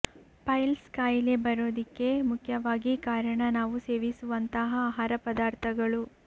piles ಕಾಯಿಲೆ ಬರೋದಿಕ್ಕೆ ಮುಖ್ಯವಾಗಿ ಕಾರಣ ನಾವು ಸೇವಿಸುವಂತಹ ಆಹಾರ ಪದಾರ್ಥಗಳು